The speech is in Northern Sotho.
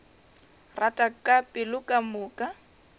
rata ka pelo ka moka